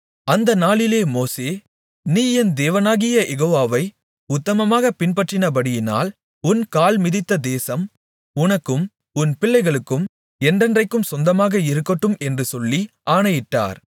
அந்த நாளிலே மோசே நீ என் தேவனாகிய யெகோவாவை உத்தமமாகப் பின்பற்றினபடியினால் உன் கால் மிதித்த தேசம் உனக்கும் உன் பிள்ளைகளுக்கும் என்றென்றைக்கும் சொந்தமாக இருக்கட்டும் என்று சொல்லி ஆணையிட்டார்